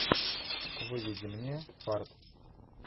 выведи мне фарт